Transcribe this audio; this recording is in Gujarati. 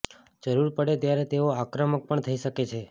જરૂર પડે ત્યારે તેઓ આક્રમક પણ થઈ શકે છે